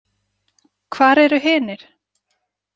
Hvar eru hinir?